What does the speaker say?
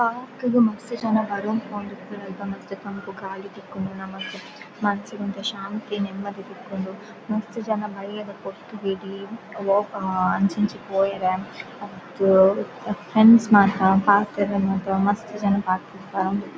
park ಗ್ ಮಸ್ತ್ ಜನ ಬರೋಂದು ಪೋವೊಂದು ಉಪ್ವೆರ್ ಅಲ್ಪ ಮಸ್ತ್ ತಂಪು ಗಾಳಿ ತಿಕ್ಕುಂಡು ನಮಕ್ ಮನಸ್ಗ್ ಒಂತೆ ಶಾಂತಿ ನೆಮ್ಮದಿ ತಿಕ್ಕುಂಡು ಮಸ್ತ್ ಜನ ಬಯ್ಯದ ಪೊರ್ತುಗ್ ಇಡೀ ಅಂಚಿ ಇಂಚಿ ಪೋಯೆರೆ ಫ್ರೆಂಡ್ಸ್ ಮಾತ ಪಾತೆರ್ರೆ ಮಾತ ಮಸ್ತ್ ಜನ ಪಾರ್ಕ್ ಗ್ ಬರೊಂದಿ--